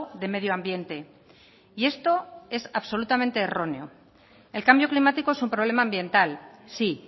de medio ambiente y esto es absolutamente erróneo el cambio climático es un problema ambiental sí